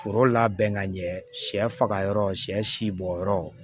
Foro labɛn ka ɲɛ sɛ faga yɔrɔ sɛ si bɔ yɔrɔ